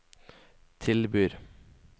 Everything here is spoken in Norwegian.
tilbyr